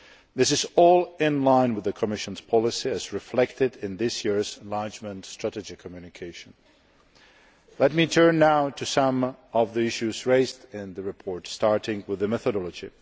This is all in line with the Commission's policy, as reflected in this year's enlargement strategy communication. Let me turn now to some of the issues raised in the report, starting with the methodology.